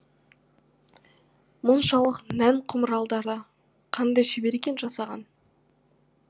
мұншалық нән құмыраларды қандай шебер екен жасаған